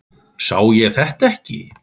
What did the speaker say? Sá ég þetta ekki?